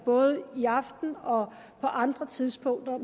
både i aften og på andre tidspunkter